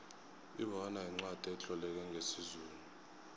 ibona yincwacli etloleke ngesizulu